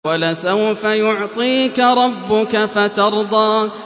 وَلَسَوْفَ يُعْطِيكَ رَبُّكَ فَتَرْضَىٰ